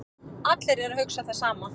Allir eru að hugsa það sama